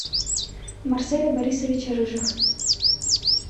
марселя борисовича рыжих